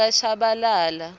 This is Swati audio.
yakashabalala